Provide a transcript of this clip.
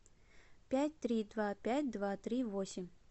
пять три два пять два три восемь